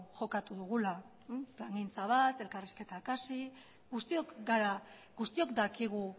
jokatu dugula plangintza bat elkarrizketak hasi guztiok gara guztiok dakigu